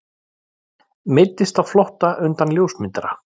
Meiddist á flótta undan ljósmyndara